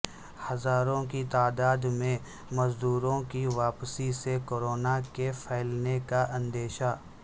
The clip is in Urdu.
ہزاروں کی تعداد میں مزدوروں کی واپسی سے کورونا کے پھیلنے کا اندیشہ